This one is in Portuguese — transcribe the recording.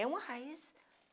É uma raiz.